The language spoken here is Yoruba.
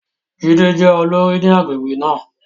Jídé jẹ́ olórí ní agbègbè náà.